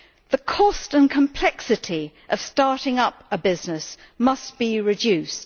The cost and complexity of starting up a business must be reduced.